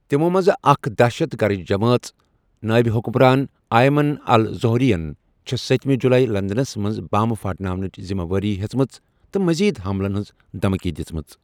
تِمو٘ منزٕ اكھ ، دہشت گرچ جمٲژ نٲیب حُكمران آیمان الازوہرین چھے٘ ستِمہِ جُلایی لندنس منز بم پھاٹناونٕچ ذِمہ وٲری ہیژٔمژ تہٕ مزید حملن ہنز دھمكی دِژمٕژ ۔